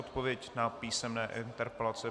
Odpověď na písemné interpelace.